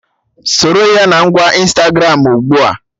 Soro ya na ngwa Ịnstagramụ ugbua!